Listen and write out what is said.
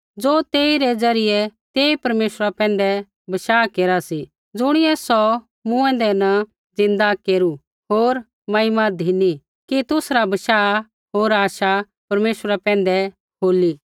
ज़ो तेइरै द्वारा तेई परमेश्वरा पैंधै बशाह केरा सी ज़ुणियै सौ मूँऐंदै न ज़िन्दा केरू होर महिमा धिनी कि तुसरा बशाह होर आशा परमेश्वरा पैंधै होली